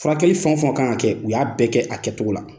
Furakɛli fɛnw fɛn ka kan kɛ u y'a bɛɛ kɛ a kɛcogo la.